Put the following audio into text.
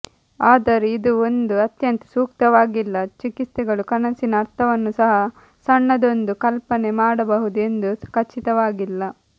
ಆದರೆ ಇದು ಒಂದು ಅತ್ಯಂತ ಸೂಕ್ತವಾಗಿಲ್ಲ ಚಿಕಿತ್ಸೆಗಳು ಕನಸಿನ ಅರ್ಥವನ್ನು ಸಹ ಸಣ್ಣದೊಂದು ಕಲ್ಪನೆ ಮಾಡಬಹುದು ಎಂದು ಖಚಿತವಾಗಿಲ್ಲ